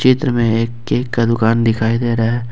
चित्र में एक केक का दुकान दिखाई दे रहा है।